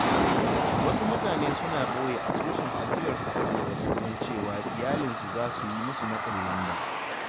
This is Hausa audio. Wasu mutane suna ɓoye asusun ajiyarsu saboda tsoron cewa iyalinsu za su yi musu matsin lamba.